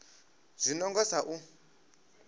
zwi no nga sa u